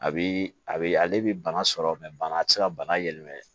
A bi a be ale bi bana sɔrɔ bana ti se ka bana yɛlɛma